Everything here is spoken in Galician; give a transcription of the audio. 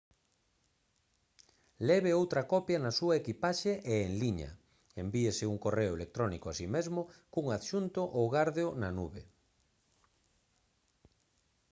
leve outra copia na súa equipaxe e en liña envíese un correo electrónico a si mesmo cun adxunto ou gárdeo na «nube»